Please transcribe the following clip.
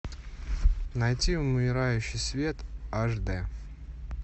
найти умирающий свет аш д